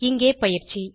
இங்கே பயிற்சி